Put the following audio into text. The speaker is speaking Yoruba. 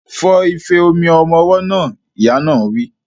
Fọ ife omi ọmọ ọwọ́ náà! Ìyá náà wí.